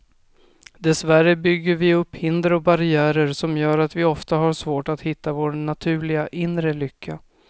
Dessvärre bygger vi upp hinder och barriärer som gör att vi ofta har svårt att hitta vår naturliga, inre lycka.